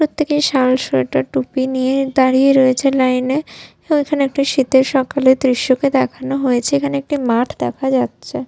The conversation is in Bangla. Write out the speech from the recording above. প্রত্যেকে শাল সোয়েটার টুপি নিয়ে দাঁড়িয়ে রয়েছে লাইন -এ ওইখানে একটা শীতের সকালের দৃশ্য কে দেখানো হয়েছে এখানে একটি মাঠ দেখা যাচ্ছে।